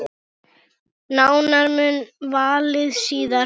Nánar um valið síðar.